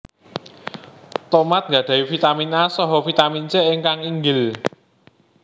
Tomat nggadhahi Vitamin A saha Vitamin C ingkang inggil